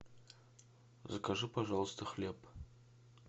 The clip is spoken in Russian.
закажи пожалуйста хлеб